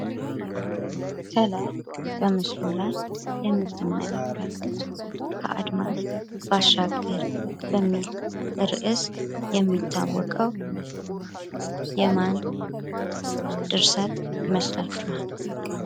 ከላይ በምስሉ ላይ የምትመለከቱት ከአድማስ ባሻገር የሚል ርእስ የሚታወቀው የማን ድርሰት ይመስላችኋል?